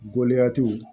Gɔlɛya t'u